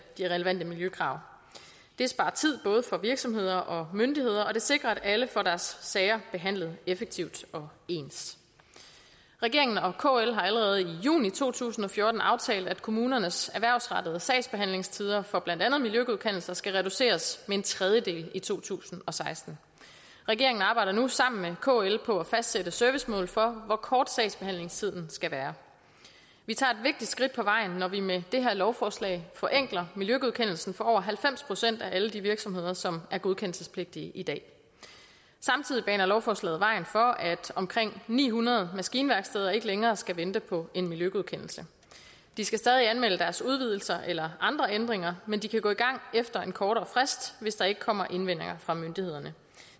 de relevante miljøkrav det sparer tid både for virksomheder og myndigheder og det sikrer at alle får deres sager behandlet effektivt og ens regeringen og kl har allerede i juni to tusind og fjorten aftalt at kommunernes erhvervsrettede sagsbehandlingstider for blandt andet miljøgodkendelser skal reduceres med en tredjedel i to tusind og seksten regeringen arbejder nu sammen med kl på at fastsætte servicemål for hvor kort sagsbehandlingstiden skal være vi tager et vigtigt skridt på vejen når vi med det her lovforslag forenkler miljøgodkendelsen for over halvfems procent af alle de virksomheder som er godkendelsespligtige i dag samtidig baner lovforslaget vejen for at omkring ni hundrede maskinværksteder ikke længere skal vente på en miljøgodkendelse de skal stadig anmelde deres udvidelser eller andre ændringer men de kan gå i gang efter en kortere frist hvis der ikke kommer indvendinger fra myndighederne